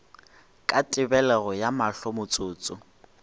ka tebelego ya mahlo motsotso